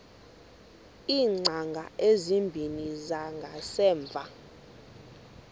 iingcango ezimbini zangasemva